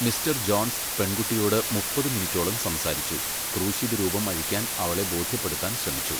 Mister Jones പെൺകുട്ടിയോട് മുപ്പത് മിനിറ്റോളം സംസാരിച്ചു, ക്രൂശിതരൂപം അഴിക്കാൻ അവളെ ബോധ്യപ്പെടുത്താൻ ശ്രമിച്ചു.